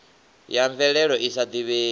ya mvelelo i sa divhei